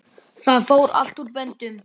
Það fór allt úr böndum.